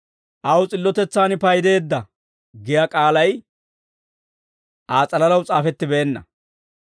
«Aw s'illotetsaan paydeedda» giyaa k'aalay Aa s'alalaw s'aafettibeenna.